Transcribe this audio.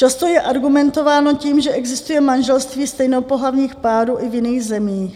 Často je argumentováno tím, že existuje manželství stejnopohlavních párů i v jiných zemích.